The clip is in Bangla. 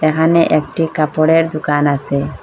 এহানে একটি কাপড়ের দুকান আসে।